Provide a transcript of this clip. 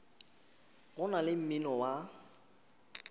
go na le mmino wa